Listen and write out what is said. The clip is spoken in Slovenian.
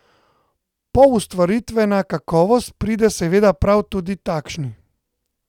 Poustvaritvena kakovost pride seveda prav tudi takšni.